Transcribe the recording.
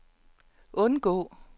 undgå